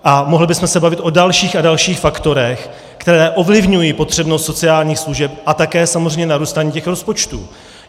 A mohli bychom se bavit o dalších a dalších faktorech, které ovlivňují potřebnost sociálních služeb a také samozřejmě narůstání těch rozpočtů.